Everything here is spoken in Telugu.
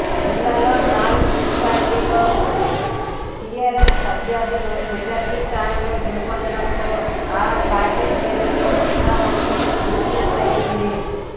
జిల్లాలో నాలుగు మున్సిపాలిటీల్లో టీఆర్ఎస్ అభ్యర్థులు మెజార్టీ స్థానాలు గెలుపొందడంతో ఆ పార్టీ శ్రేణుల్లో ఉత్సాహం నింపినైట్లెంది